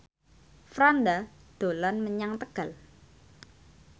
Franda dolan menyang Tegal